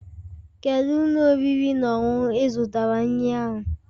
Kedu ụlọ oriri na ọṅụṅụ ị zụtara nri ahụ?